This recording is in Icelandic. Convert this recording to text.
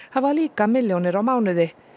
hafa líka milljónir á mánuði